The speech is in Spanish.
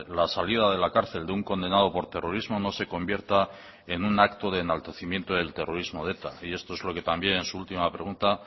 la salida de la cárcel de un condenado por terrorismo no se convierta en un acto de enaltecimiento del terrorismo de eta y esto es lo que también en su última pregunta